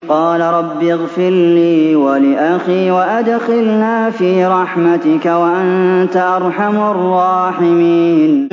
قَالَ رَبِّ اغْفِرْ لِي وَلِأَخِي وَأَدْخِلْنَا فِي رَحْمَتِكَ ۖ وَأَنتَ أَرْحَمُ الرَّاحِمِينَ